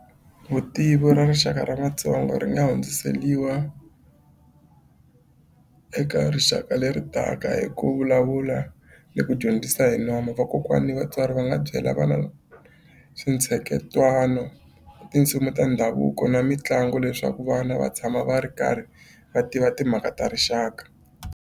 Vutivi ra rixaka ra Matsonga ri nga hundziseriwa eka rixaka leri taka hi ku vulavula ni ku dyondzisa hi nomo. Vakokwana ni vatswari va nga byela vana switsheketwano tinsimu ta ndhavuko na mitlangu leswaku vana va tshama va ri karhi va tiva timhaka ta rixaka.